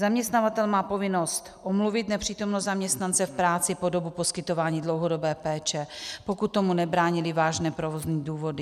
Zaměstnavatel má povinnost omluvit nepřítomnost zaměstnance v práci po dobu poskytování dlouhodobé péče, pokud tomu nebrání vážné provozní důvody.